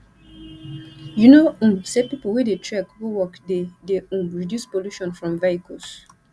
you know um say pipu wey dey trek go work dey dey um reduce pollution from vehicles